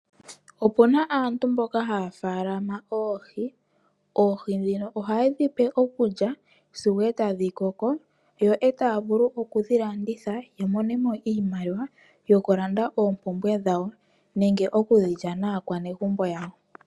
Opuna aantu mboka haya faalama oohi. Oohi dhino ohaye dhipe okulya sigo etadhi koko. Yo eta vulu okudhi landitha yamonemo iimaliwa yoku landa oompumbwe dhawo nenge oku dhilya naakwanegumbo yawo.